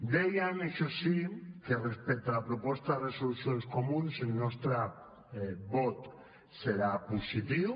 dèiem això sí que respecte a la proposta de resolució dels comuns el nostre vot serà positiu